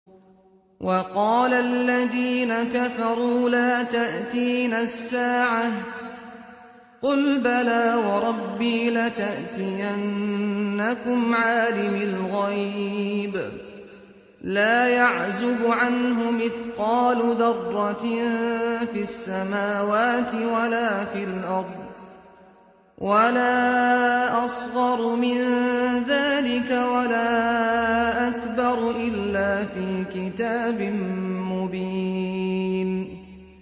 وَقَالَ الَّذِينَ كَفَرُوا لَا تَأْتِينَا السَّاعَةُ ۖ قُلْ بَلَىٰ وَرَبِّي لَتَأْتِيَنَّكُمْ عَالِمِ الْغَيْبِ ۖ لَا يَعْزُبُ عَنْهُ مِثْقَالُ ذَرَّةٍ فِي السَّمَاوَاتِ وَلَا فِي الْأَرْضِ وَلَا أَصْغَرُ مِن ذَٰلِكَ وَلَا أَكْبَرُ إِلَّا فِي كِتَابٍ مُّبِينٍ